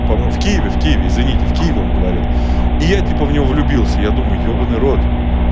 по моему в киеве в киеве извините в киеве он говорил и я типа в неё влюбился я думаю ебанный в рот